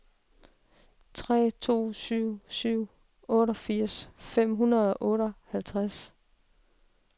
tre to syv syv otteogfirs fem hundrede og otteoghalvtreds